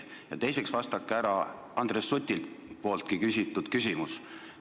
Ja teiseks vastake Andres Suti küsitud küsimusele.